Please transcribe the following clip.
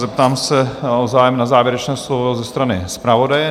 Zeptám se na zájem o závěrečné slovo ze strany zpravodaje.